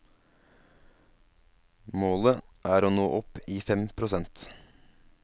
Målet er å nå opp i fem prosent.